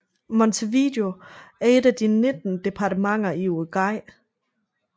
Montevideo er et af de 19 departementer i Uruguay